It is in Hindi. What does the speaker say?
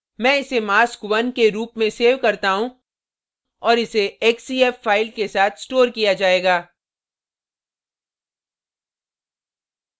मैं इसे mask1 1 के रूप में सेव करता हूँ और इसे xcf फ़ाइल के साथ stored किया जाएगा